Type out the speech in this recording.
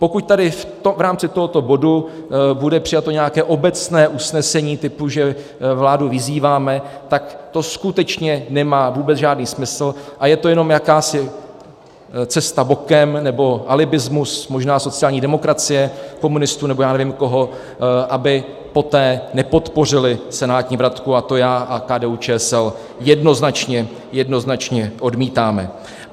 Pokud tady v rámci tohoto bodu bude přijato nějaké obecné usnesení typu, že vládu vyzýváme, tak to skutečně nemá vůbec žádný smysl a je to jenom jakási cesta bokem, nebo alibismus možná sociální demokracie, komunistů nebo já nevím koho, aby poté nepodpořili senátní vratku, a to já a KDU-ČSL jednoznačně, jednoznačně odmítáme.